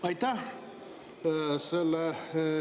Aitäh!